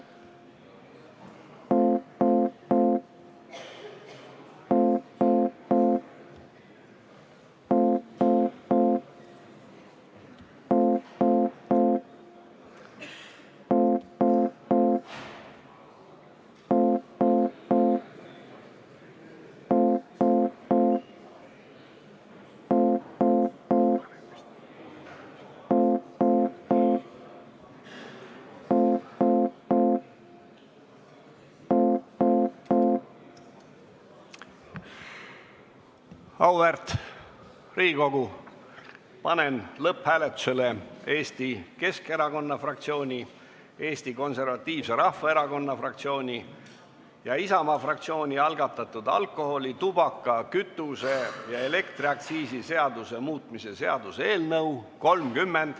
Auväärt Riigikogu, panen lõpphääletusele Eesti Keskerakonna fraktsiooni, Eesti Konservatiivse Rahvaerakonna fraktsiooni ja Isamaa fraktsiooni algatatud alkoholi-, tubaka-, kütuse- ja elektriaktsiisi seaduse muutmise seaduse eelnõu.